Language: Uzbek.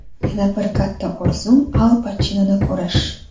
Yana bir katta orzum – Al Pachinoni ko‘rish.